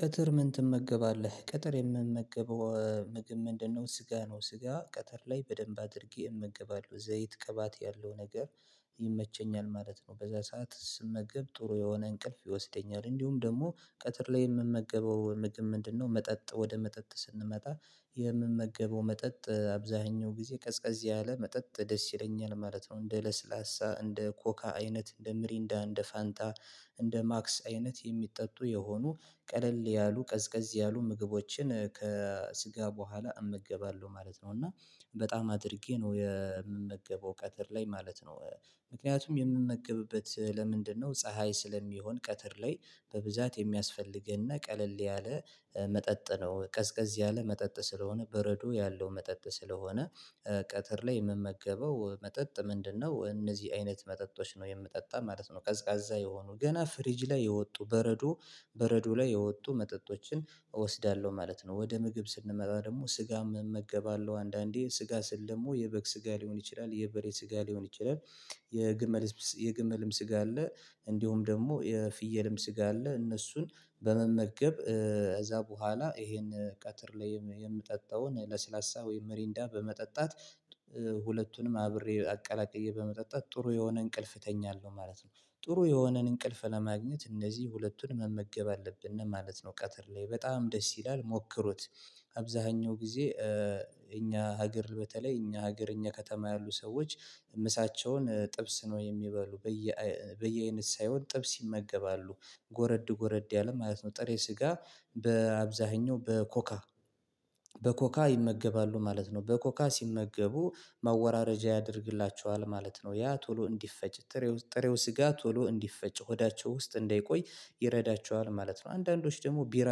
ቀትር ምን ትመገባለህ ቀትር የምመገበው ምግብ ምንድነው ስጋ ነው? ስጋ ቀትር ላይ በደንብ አድርጌ እመገባለሁ ዘይት ቅባት ያለው ነገር ይመቸኛል ማለት ነው። በዛ ሰዓት ስመገብ ጥሩ የሆነ እንቅልፍ ይወስደኛል። እንዲሁም ደግሞ ቀትር ላይ የምመገበው ምግብ ምንድነው? መጠጥ ወደ መጠጥ ስንመጣ የምመገበው መጠጥ አብዛኛው ጊዜ ቀዝቀዝ ያለ መጠጥ ደስ ይለኛል ማለት ነው። እንደ ለስላሳ እንደ ኮካ አይነት እንደ ሚሪንዳ እንደ ፋንታ እንደ ማክስ አይነት የሚጠጡ የሆኑ ቀለል ያሉ ቀዝቀዝ ያሉ ምግቦችን ከስጋ በኋላ እመገባለሁ ማለት ነው። እና በጣም አድርጌ ነው የምመገበው ቀትር ላይ ማለት ነው። ምክንያቱም የምመገብበት ለምንድነው ፀሀይ ስለሚሆን ቀትር ላይ በብዛት የሚያስፈልገን እና ቀለል ያለ መጠጥ ነው ቀዝቀዝ ያለ መጠጥ ስለሆነ በረዶ ያለው መጠጥ ስለሆነ። ቀትር ላይ የምመገበው መጠጥ ምንድነው? እነዚህ አይነት መጠጦች ነው የምጠጣው ማለት ነው። ቀዝቃዛ የሆኑ ገና ፍሪጅ ላይ የወጡ በረዶ በረዶ ላይ የወጡ መጠጦችን እወስዳለሁ ማለት ነው። ወደ ምግብ ስንመጣ ደግሞ ስጋ እመገባለሁ አንዳንዴ ስጋ ስል ደግሞ የበግ ስጋ ሊሆን ይችላል የበሬ ስጋ ሊሆን ይችላል። የግመል የግመልም ስጋ አለ። እንዲሁም ደግሞ የፍየልም ስጋ አለ። እነሱን በመመገብ ከዛ በኋላ ይሄን ቀትር ላይ የምጠጣውን ለስላሳ ወይም ሚሪንዳ በመጠጣት ሁለቱንም አብሬ አቀላቅዬ በመጠጣት ጥሩ የሆነ እንቅልፍ እተኛለሁ ማለት ነው። ጥሩ የሆነን እንቅልፍ ለማግኘት እነዚህ ሁለቱን መመገብ አለብን ማለት ነው። ቀትር ላይ በጣም ደስ ይላል ሞክሩት። አብዛኛው ጊዜ እኛ ሀገር በተለይ እኛ ሀገር እኛ ከተማ ያሉ ሰዎች ምሳቸውን ጥብስ ነው የሚባሉ በየ በየአይነት ሳይሆን ጥብስ ይመገባሉ ጎረድ ጎረድ ያለ ማለት ነው ጥሬ ስጋ በአብዛኛው በኮካ በኮካ ይመገባሉ ማለት ነው። በኮካ ሲመገቡ ማወራረጃ ያደርግላችኋል ማለት ነው። ያ ቶሎ እንዲፈጭ ጥሬው ስጋ ቶሎ እንዲፈጭ ሆዳቸው ውስጥ እንዳይቆይ ይረዳቸዋል ማለት ነው። አንዳንዶች ደግሞ ቢራ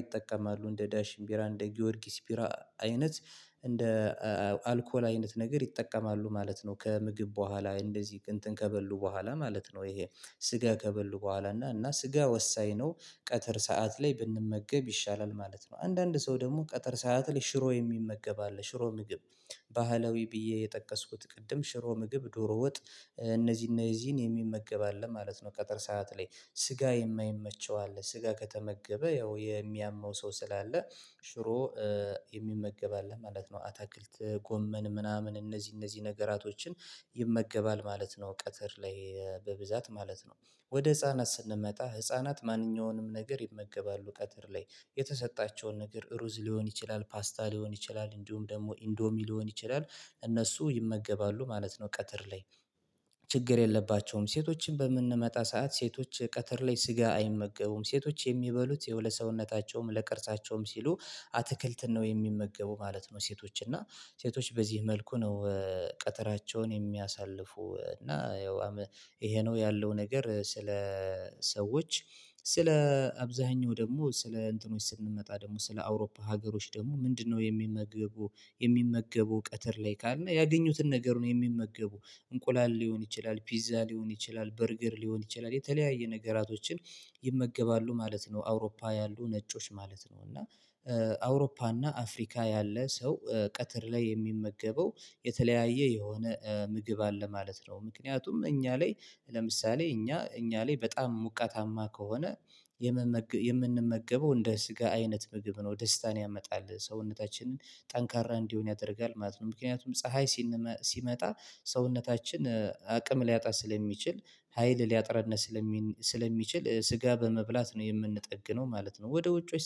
ይጠቀማሉ እንደ ዳሽን ቢራ እንደ ጊዮርጊስ ቢራ አይነት እንደ አልኮል አይነት ነገር ይጠቀማሉ ማለት ነው። ከምግብ በኋላ እንደዚህ እንትን ከበሉ በኋላ ማለት ነው ይሄ ስጋ ከበሉ በኋላ እና እና ስጋ ወሳኝ ነው ቀጥር ሰዓት ላይ ብንመገብ ይሻላል ማለት ነው። አንዳንድ ሰው ደግሞ ቀጥር ሰዓት ላይ ሽሮ የሚመገብ አለ ሽሮ ምግብ ባህላዊ ብዬ የጠቀስኩት ቅድም ሽሮ ምግብ ዶሮ ወጥ እነዚህን እነዚህን የሚመገብ አለ ማለት ነው። ቀጥር ሰዓት ላይ ስጋ የማይመቸው አለ ስጋ ከተመገበ ያው የሚያመው ሰው ስላለ ሽሮ የሚመገብ አለ ማለት ነው። አታክልት ጎመን ምናምን እነዚህ እነዚህ ነገራቶችን ይመገባል ማለት ነው። ቀትር ላይ በብዛት ማለት ነው። ወደ ህፃናት ስንመጣ ህፃናት ማንኛውንም ነገር ይመገባሉ ቀትር ላይ የተሰጣቸውን ነገር ሩዝ ሊሆን ይችላል። ፓስታ ሊሆን ይችላል እንዲሁም ደግሞ ኢንዶሚ ሊሆን ይችላል። እነሱ ይመገባሉ ማለት ነው። ቀትር ላይ ችግር የለባቸውም። ሴቶችን በምንመጣ ሰዓት ሴቶች ቀትር ላይ ስጋ አይመገቡም ሴቶች የሚበሉት ያው ለሰውነታቸውም ለቅርጻቸውም ሲሉ አትክልት ነው የሚመገቡ ማለት ነው። ሴቶች እና ሴቶች በዚህ መልኩ ነው። ቀትራቸውን የሚያሳልፉ እና ያው ይሄ ነው ያለው ነገር ስለ ሰዎች ስለ አብዛኛው ደግሞ ስለ እንትኖች ስንመጣ ደግሞ ስለ አውሮፓ ሀገሮች ደግሞ ምንድነው የሚመገቡት? የሚመግቡ ቀትር ላይ ካልን ያገኙትን ነገር ነው የሚመገቡ እንቁላል ሊሆን ይችላል ፒዛ ሊሆን ይችላል በርገር ሊሆን ይችላል የተለያየ ነገራቶችን ይመገባሉ ማለት ነው። አውሮፓ ያሉ ነጮች ማለት ነው እና አውሮፓ እና አፍሪካ ያለ ሰው ቀትር ላይ የሚመገበው የተለያየ የሆነ ምግብ አለ ማለት ነው። ምክንያቱም እኛ ላይ ለምሳሌ እኛ እኛ ላይ በጣም ሙቃታማ ከሆነ የመመገ የምንመገበው እንደ ስጋ አይነት ምግብ ነው ደስታን ያመጣል ሰውነታችንን ጠንካራ እንዲሆን ያደርጋል ማለት ነው። ምክንያቱም ፀሀይ ሲመጣ ሰውነታችን አቅም ሊያጣ ስለሚችል ሀይል ሊያጥረን ስለሚችል ስጋ በመብላት ነው የምንጠግነው ማለት ነው። ወደ ውጮች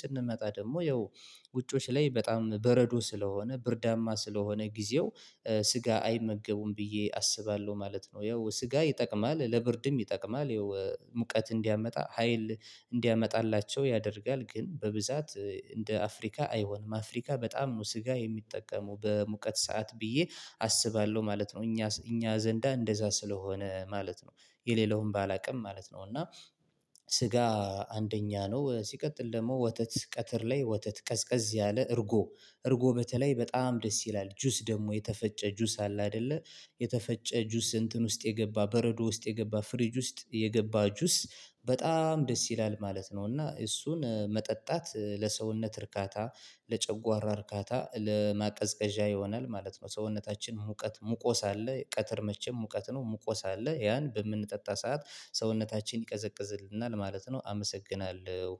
ስንመጣ ደግሞ ያው ውጮች ላይ በጣም በረዶ ስለሆነ ብርዳማ ስለሆነ ጊዜው ስጋ አይመገቡም ብዬ አስባለሁ ማለት ነው። ያው ስጋ ይጠቅማል ለብርድም ይጠቅማል ያው ሙቀት እንዲያመጣ ሀይል እንዲያመጣላቸው ያደርጋል ግን በብዛት እንደ አፍሪካ አይሆንም አፍሪካ በጣም ነው ስጋ የሚጠቀሙ በሙቀት ሰዓት ብዬ አስባለሁ ማለት ነው። እኛ እኛ ዘንዳ እንደዛ ስለሆነ ማለት ነው የሌላውን ባላውቅም ማለት ነው። እና ስጋ አንደኛ ነው ሲቀጥል ደግሞ ወተት ቀትር ላይ ወተት ቀዝቀዝ ያለ እርጎ እርጎ በተለይ በጣም ደስ ይላል ጁስ ደግሞ የተፈጨ ጁስ አለ። አይደለ የተፈጨ ጁስ እንትን ውስጥ የገባ በረዶ ውስጥ የገባ ፍሪጅ ውስጥ የገባ ጁስ በጣም ደስ ይላል ማለት ነው። እና እሱን መጠጣት ለሰውነት እርካታ ለጨጓራ እርካታ ለማቀዝቀዣ ይሆናል ማለት ነው። ሰውነታችን ሙቀት ሙቆ ሳለ ቀትር መቼም ሙቀት ነው ሙቆ ሳለ ያን በምንጠጣ ሰዓት ሰውነታችን ይቀዘቅዝልናል ማለት ነው። አመሰግናለሁ።